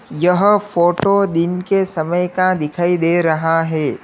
यह फोटो दिन के समय का दिखाई दे रहा है।